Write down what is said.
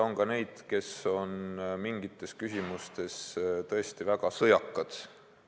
On ka neid, kes on mingites küsimustes tõesti väga sõjakad.